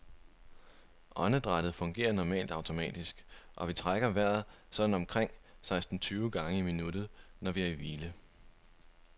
Åndedrættet fungerer normalt automatisk, og vi trækker vejret sådan omkring seksten tyve gange i minuttet, når vi er i hvile.